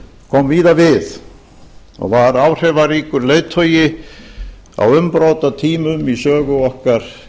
kom víða við og var áhrifaríkur leiðtogi á umbrotatímum í sögu okkar